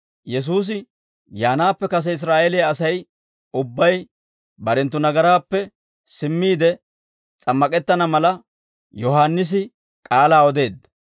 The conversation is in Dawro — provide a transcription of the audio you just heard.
Yesuusi yaanaappe kase Israa'eeliyaa Asay ubbay barenttu nagaraappe simmiide s'ammak'ettana mala, Yohaannisi k'aalaa odeedda.